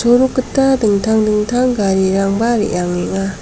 orok gita dingtang dingtang garirangba re·angenga.